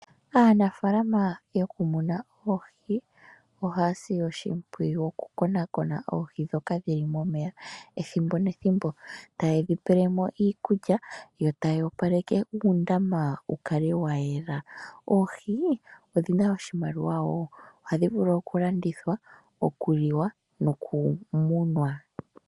Aanafaalama yokumuna oohi ohaya si oshimpwiyu okukonakona oohi ndhoka dhi li momeya ethimbo nethimbo. Taye dhi pele mo iikulya yo taya opoaleke uundama wu kale wa yela. Oohi odhi na oshimaliwa wo. Ohadhi vulu okulandithwa, okuliwa nokumunwa.